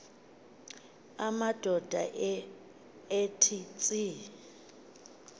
amadoda ethe tsi